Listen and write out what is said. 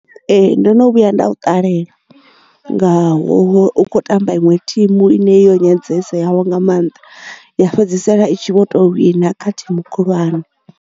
Ee ndo no vhuya nda i ṱalela ngaho u kho tamba iṅwe thimu ine yo nyadziseaho nga mannḓa ya fhedzisela i tshi vho to wina kha thimu khulwane.